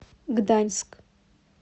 гданьск